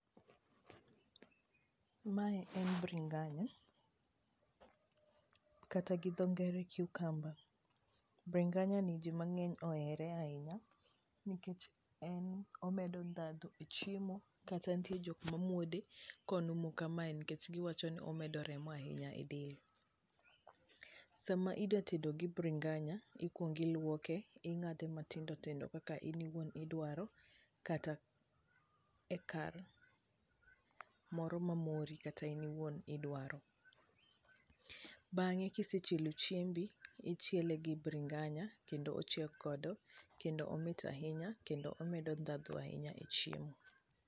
mae en bringanya kata gi dho ngere cucumber bringanya ni ji mang'eny ohere ahinya, nikech en omedo ndhadhu e chiemo kata nitie jok mamuode konumu kamae nikech giwachi ni omedo remo ahinya e del ,sama idwa tedo gi bringanya ikuong' iluoke ,ing'ade matindo tindo kaka in owuon idwaro kata e kar moro ma mori kata in iwuon idwaro ,bange kisechielo chiembi, ichiele gi bringanya kendo ochiek kodo kendo omit ahinya kendo omedo dhadhu e chiemo